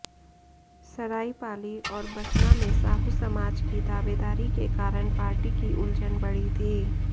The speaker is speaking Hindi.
सराइपाली और बसना में साहू समाज की दावेदारी के कारण पार्टी की उलझन बढ़ी थी